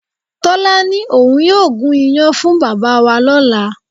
Tọ́lá ní òun yóò gún iyán fún bàbá wa lọ́la